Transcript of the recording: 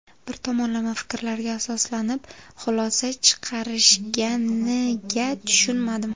Bir tomonlama fikrlarga asoslanib, xulosa chiqarishganiga tushunmadim.